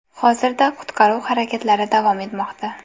Hozirda qutqaruv harakatlari davom etmoqda.